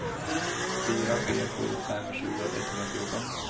fyra tre sju fem tjugo etthundrafjorton